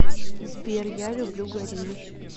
сбер я люблю горилл